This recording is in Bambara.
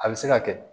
A bɛ se ka kɛ